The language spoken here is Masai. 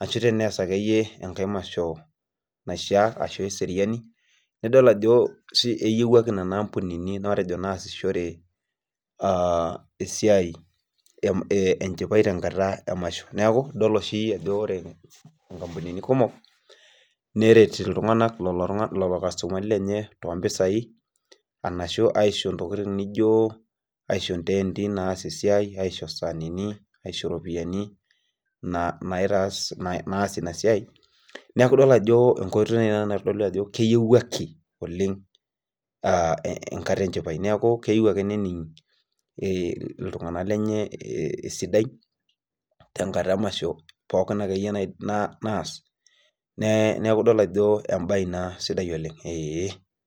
ashu tenees akayie emasho naishaa ashu eseriani nidol ajo, eyiuwuaki Nena ampunini nasishore esiai, enchipai tenkata emasho. neeku Idol oshi ajo ore inkampunini kuumok neret lelo kastomani lenye too mpisai anashu aisho ntokitin naijo, aisho nteenti naasie esiai. aisho saaninii aisho naitaas Ina siai. neekh enkoitoi Ina naitodolu ajo keyiewuaki oleng, enkata enchipai neeku keyieu ake nening iltunganak lenye, esidai tenkata emasho pookin akeyie naas, neeku idol ajo ebae sidai Ina Oleng.